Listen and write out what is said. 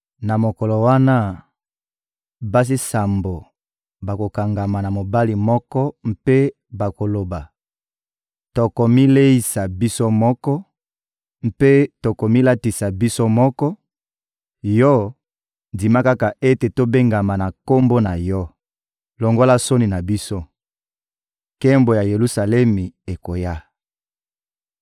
Na mokolo wana, basi sambo bakokangama na mobali moko mpe bakoloba: «Tokomileisa biso moko mpe tokomilatisa biso moko; yo, ndima kaka ete tobengama na kombo na yo! Longola soni na biso!» Nkembo ya Yelusalemi ekoya